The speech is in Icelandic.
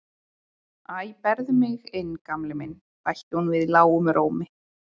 Æ, berðu mig inn Gamli minn bætti hún við lágum rómi.